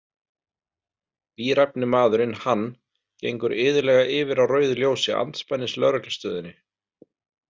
Bíræfni maðurinn Hann gengur iðulega yfir á rauðu ljósi andspænis lögreglustöðinni.